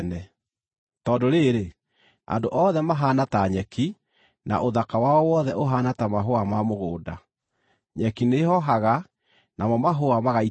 Tondũ rĩrĩ, “Andũ othe mahaana ta nyeki, na ũthaka wao wothe ũhaana ta mahũa ma mũgũnda; nyeki nĩĩhoohaga, namo mahũa magaitĩka,